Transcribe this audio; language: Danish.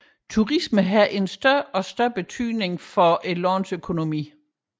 Turismen har en større og større betydning for landets økonomi